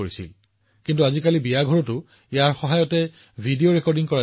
ড্ৰোনৰ সহায়ত গাঁৱত ভূমি ডিজিটেল ৰেকৰ্ড প্ৰস্তুত কৰাৰ ক্ষেত্ৰত ভাৰত হৈছে বিশ্বৰ প্ৰথমখন দেশ